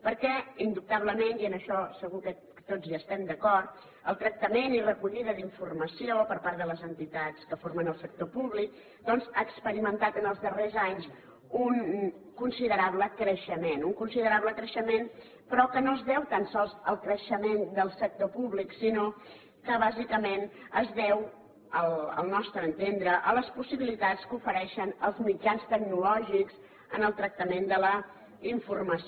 perquè indubtablement i en això segur que tots hi estem d’acord el tractament i la recollida d’informació per part de les entitats que formen el sector públic ha experimentat en els darrers anys un considerable creixement un considerable creixement però que no es deu tan sols al creixement del sector públic sinó que bàsicament es deu al nostre entendre a les possibilitats que ofereixen els mitjans tecnològics en el tractament de la informació